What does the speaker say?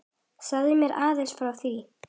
Segðu mér aðeins frá því.